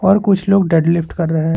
और कुछ लोग डेड लिफ्ट कर रहे--